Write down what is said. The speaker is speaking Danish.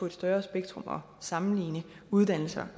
et større spektrum at sammenligne uddannelser